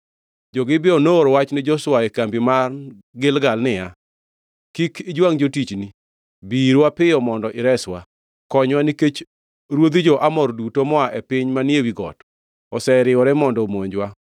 Jo-Gibeon nooro wach ni Joshua e kambi man Gilgal niya, “Kik ijwangʼ jotichgi. Bi irwa piyo mondo ireswa! Konywa nikech ruodhi jo-Amor duto moa e piny manie wi got oseriwore mondo omonjwa.”